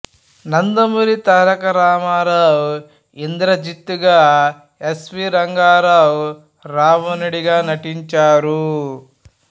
నందమూరి తారక రామారావు ఇంద్రజిత్ గా S V Ranga Rao రావణుడుగా నటించారు